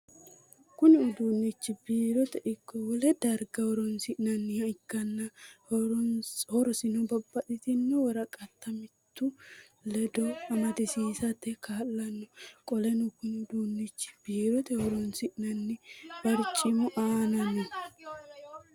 Kunni uduunichi biirote iko wole darga horoonsi'nanniha ikanna horosino babbaxino woraqata mimitu ledo amadisiisate kaa'lano. Qoleno kunni uduunichi biirote horoonsi'nanni barcimu aanna no.